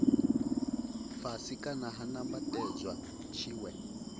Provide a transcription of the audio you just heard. fhasi kana ha nambatedzwa tshiwe